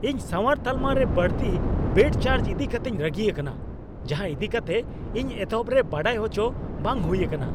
ᱤᱧ ᱥᱟᱶᱟᱨ ᱛᱟᱞᱢᱟᱨᱮ ᱵᱟᱹᱲᱛᱤ ᱵᱮᱰ ᱪᱟᱨᱡ ᱤᱫᱤ ᱠᱟᱛᱮᱧ ᱨᱟᱹᱜᱤ ᱟᱠᱟᱱᱟ, ᱡᱟᱦᱟᱸ ᱤᱫᱤ ᱠᱟᱛᱮ ᱤᱧ ᱮᱛᱚᱦᱚᱵ ᱨᱮ ᱵᱟᱰᱟᱭ ᱟᱪᱚ ᱵᱟᱝ ᱦᱩᱭ ᱟᱠᱟᱱᱟ ᱾